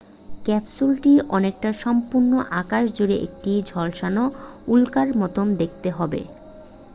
ক্যাপসুলটি অনেকটা সম্পূর্ণ আকাশ জুড়ে একটি ঝলসানো উল্কার মতো দেখতে হবে